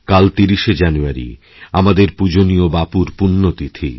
কাল ৩০শে জানুয়ারি আমাদের পূজনীয় বাপুর পুণ্য তিথি